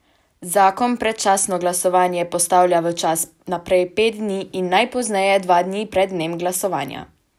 Zakon predčasno glasovanje postavlja v čas najprej pet dni in najpozneje dva dni pred dnem glasovanja.